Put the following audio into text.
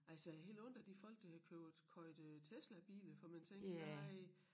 Altså jeg har helt ondt af de folk der køber købt øh Teslabiler for man tænker nej